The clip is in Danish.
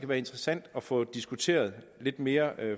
være interessant at få diskuteret lidt mere